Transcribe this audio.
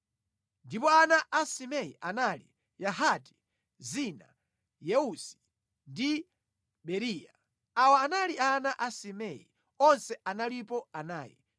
Ndipo ana a Simei anali: Yahati, Zina, Yeusi ndi Beriya. Awa anali ana a Semei. Onse analipo anayi.